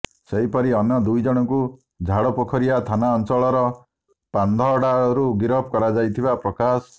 ସେହିପରି ଅନ୍ୟ ଦୁଇଜଣଙ୍କୁ ଝାଡ଼ପୋଖରିଆ ଥାନାଞ୍ଚଳର ପାନ୍ଧଡ଼ାରୁ ଗିରଫ କରାଯାଇଥିବା ପ୍ରକାଶ